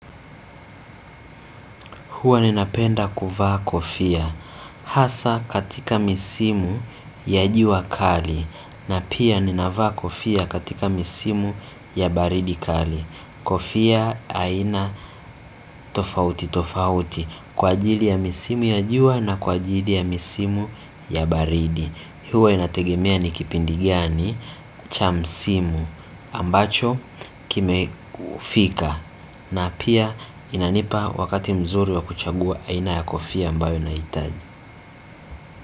Huwa ninapenda kuvaa kofia hasa katika misimu ya jua kali na pia ninavaa kofia katika misimu ya baridi kali. Kofia haina tofauti tofauti kwa ajili ya misimu ya jua na kwa ajili ya misimu ya baridi. Huwa inategemea ni kipindi gani cha msimu ambacho kime kufika. Na pia inanipa wakati mzuri wa kuchagua aina ya kofia ambayo ninahitaji.